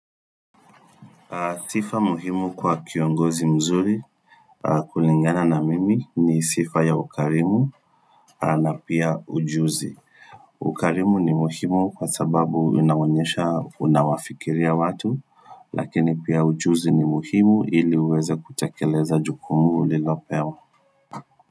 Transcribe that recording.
Sifa muhimu kwa kiongozi mzuri kulingana na mimi ni sifa ya ukarimu na pia ujuzi. Ukarimu ni muhimu kwa sababu unaonyesha unawafikiria watu, lakini pia ujuzi ni muhimu ili uweze kutekeleza jukumu ulilopewa.